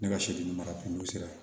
Ne ka soden mara kun sera